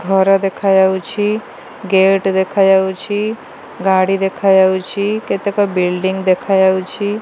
ଘର ଦେଖାଯାଉଛି ଗେଟ ଦେଖାଯାଉଛି ଗାଡ଼ି ଦେଖାଯାଉଛି କେତେକ ବିଲ୍ଡିଂ ଦେଖାଯାଇଛି।